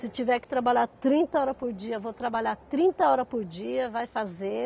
Se tiver que trabalhar trinta horas por dia, vou trabalhar trinta horas por dia, vai fazer.